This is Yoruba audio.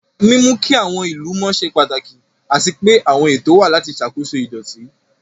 Mímú kí àwọn ìlú mọ́ ṣe pàtàkì, àti pé àwọn ètò wà láti ṣàkóso ìdọ̀tí.